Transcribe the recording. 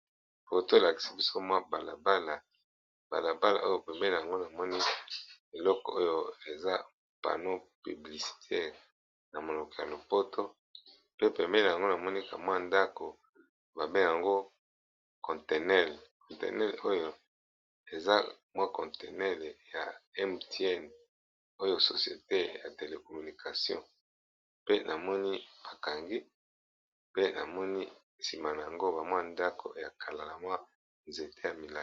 Photo elakisi biso balabala balabala oyo pembene nango namoni eloko oyo eza pano publicitaire na monoko ya lopoto pe pembene, nango namoni ndaku ya container oyo eza container ya mtn oyo societe ya telecomunication pe namoni bakangi pe namoni nasima nango ba ndako, na ba nzete ya milai.